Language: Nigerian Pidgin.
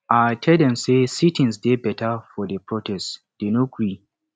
i tell dem say sitins dey better for the protest dey no gree